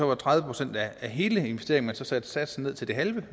var tredive procent af hele investeringen så man satte satsen ned til det halve